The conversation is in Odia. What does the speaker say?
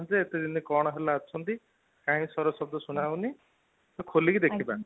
ଏତେ ଦିନ କଣ ହେଲା ଅଛନ୍ତି ? କହି ସ୍ୱର ଶବ୍ଦ ଶୁଣା ଯାଉନି ତ ଖୋଲି କି ଦେଖିବା